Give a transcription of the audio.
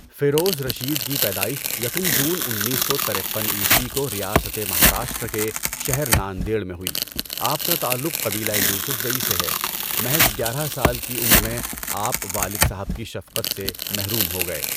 فیروز رشید کی پیدائش یکم جون انیس سو ترپن عیسوی کو ریاستِ مہاراشٹرا کے شہر ناندیڑ میں ہوئی۔ آپ کا تعلق قبیلۂ یوسف زئی سے ہے۔ محض گیارہ سال کی عمر میں آپ والد صاحب کی شفقت سے محروم ہو گئے۔